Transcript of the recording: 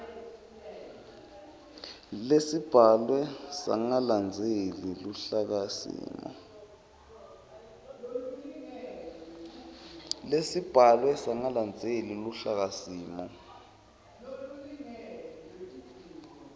lesibhalwe sangalandzeli luhlakasimo